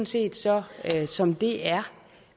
set så som det er